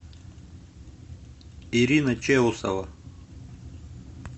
ирина чеусова